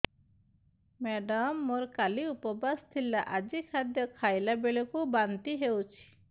madam ମୋର କାଲି ଉପବାସ ଥିଲା ଆଜି ଖାଦ୍ୟ ଖାଇଲା ବେଳକୁ ବାନ୍ତି ହେଊଛି